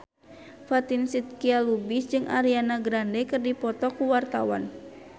Fatin Shidqia Lubis jeung Ariana Grande keur dipoto ku wartawan